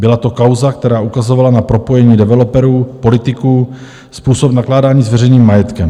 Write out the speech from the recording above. Byla to kauza, která ukazovala na propojení developerů, politiků, způsob nakládání s veřejným majetkem.